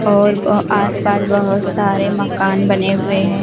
और ओ आसपास बहुत सारे मकान बने हुए हैं।